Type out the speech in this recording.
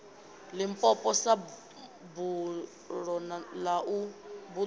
limpopo sa buḓo ḽa u